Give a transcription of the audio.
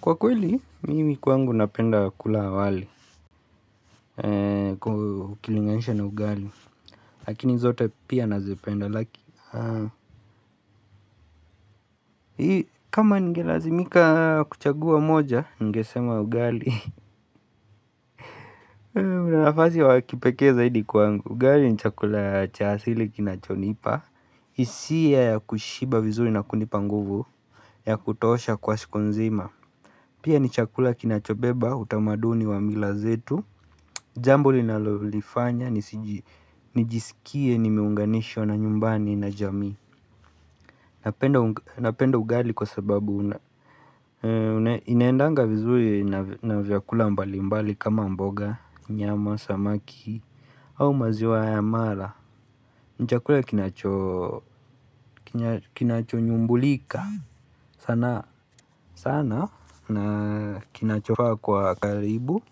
Kwa kweli, mimi kwangu napenda kula wali, kukilinganishwa na ugali, lakini zote pia nazipenda laki. Kama ningelazimika kuchagua moja, ningesema ugali, kuna nafasi wakipekee zaidi kwangu. Ugali ni chakula cha asili kinachonipa, hisia ya kushiba vizuri na kunipa nguvu, ya kutosha kwa siku nzima. Pia ni chakula kinachobeba, utamaduni wa mila zetu Jambo linalolifanya, nijisikie nimeunganishwa na nyumbani na jamii Napenda ugali kwa sababu inaendanga vizuri na vyakula mbali mbali kama mboga, nyama, samaki au maziwa ya mala ni chakula kinachonyumbulika sana sana na kinachofaa kwa karibu